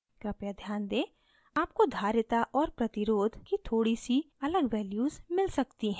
कृपया ध्यान दें आपको धारिता capacitance और प्रतिरोध resistance की थोड़ी सी अलग values मिल सकती हैं